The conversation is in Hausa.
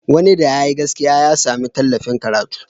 Wani da yayi gaskiya ya sami tallafin karatu.